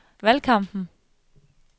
valgkampen